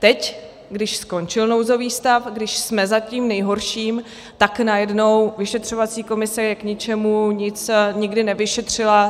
Teď, když skončil nouzový stav, když jsme za tím nejhorším, tak najednou vyšetřovací komise je k ničemu, nic nikdy nevyšetřila.